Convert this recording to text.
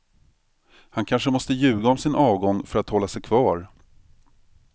Han kanske måste ljuga om sin avgång för att hålla sig kvar.